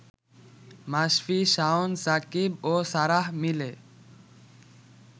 মাশফি, শাওন, সাকিব ও সারাহ মিলে